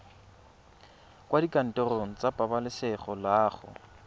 kwa dikantorong tsa pabalesego loago